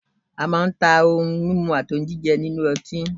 a man ta òun mímu àti jíjẹ ni ile ọti